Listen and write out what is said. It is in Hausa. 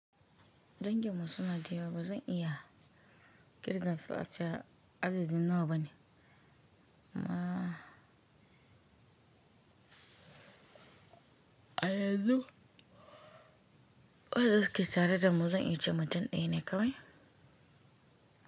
Danginmu suna da yawa ba zan iya ƙirgen su ace a adadin nawa ba ne amma a yanzu wan suke tare da mu zan iya ce mutum ɗaya ne kawai.